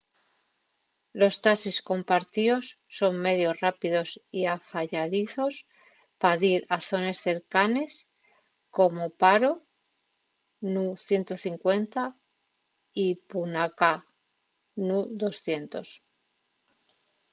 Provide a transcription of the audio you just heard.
los taxis compartíos son medios rápidos y afayadizos pa dir a zones cercanes como paro nu 150 y punakha nu 200